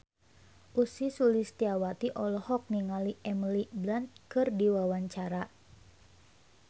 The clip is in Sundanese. Ussy Sulistyawati olohok ningali Emily Blunt keur diwawancara